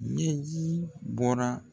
Ɲɛji bɔra